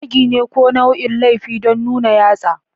Zagi ne ko nau'in laifi don nuna yatsa.